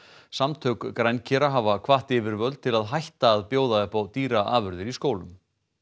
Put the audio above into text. samtök hafa hvatt yfirvöld til að hætta að bjóða upp á dýraafurðir í skólum